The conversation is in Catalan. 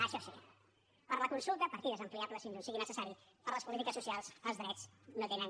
això sí per a la consulta partides ampliables fins on sigui necessari per a les polítiques socials els drets no tenen